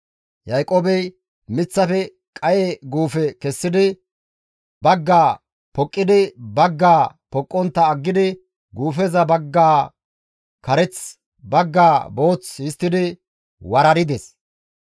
Yaaqoobey miththafe qaye guufe kessidi baggaa poqqidi baggaa poqqontta aggidi guufeza baggaa kareth, baggaa booth histtidi warardes.